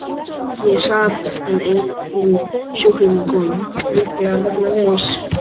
Ég sat en enginn sjúklingur kom, líklega vegna veðurs.